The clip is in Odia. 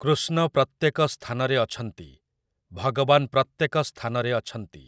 କୃଷ୍ଣ ପ୍ରତ୍ୟେକ ସ୍ଥାନରେ ଅଛନ୍ତି । ଭଗବାନ୍ ପ୍ରତ୍ୟେକ ସ୍ଥାନରେ ଅଛନ୍ତି ।